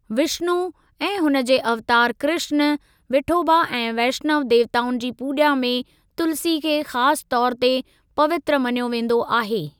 विष्‍णु ऐं हुन जे अवतार कृष्‍ण, विठोबा ऐं वैष्‍णव देवताउनि जी पूॼा में तुलसी खे खास तौर ते पवित्र मञियो वेंदो आहे।